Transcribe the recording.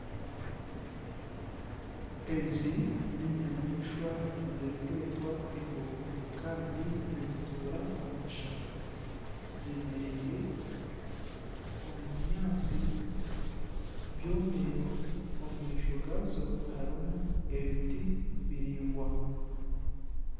Ezi neenyamaishwa ezirikwetwa embogo kandi nizituura omu kishaka zeemereire omu binyaatsi byomire omu maisho gaazo harimu ebiti biraingwa